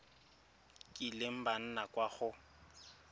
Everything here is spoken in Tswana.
kileng ba nna kwa go